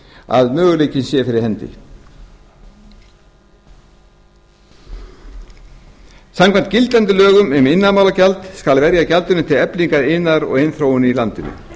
að möguleikinn sé fyrir hendi samkvæmt lögum um iðnaðarmálagjald skal verja gjaldinu til eflingar iðnaði og iðnþróun í landinu